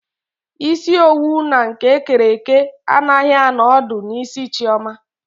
Isi owu na nke ekere eke anaghị anọ ọdụ n'isi Chioma.